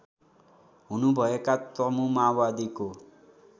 हुनुभएका तमु माओवादीको